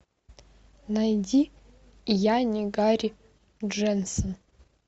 найди я не гарри дженсон